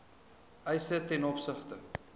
eise ten opsigte